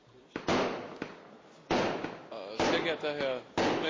Sehr geehrter Herr Präsident Tajani, sehr geehrte Damen und Herren!